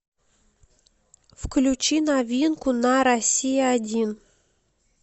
включи новинку на россия один